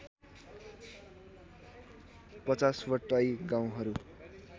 ५० वटै गाउँहरू